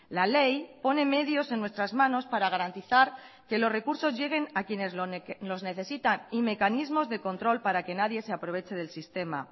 la ley pone medios en nuestras manos para garantizar que los recursos lleguen a quienes los necesitan y mecanismos de control para que nadie se aproveche del sistema